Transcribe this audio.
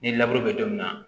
Ni bɛ don min na